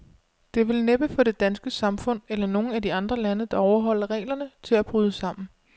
Det vil næppe få det danske samfund, eller nogen af de andre lande, der overholder reglerne, til at bryde sammen.